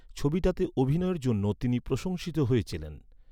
ছবিটাতে অভিনয়ের জন্য তিনি প্রশংসিত হয়েছিলেন ।